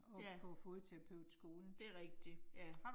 Ja. Det rigtigt, ja